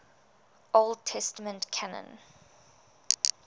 old testament canon